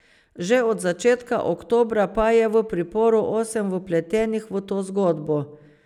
Že od začetka oktobra pa je v priporu osem vpletenih v to zgodbo.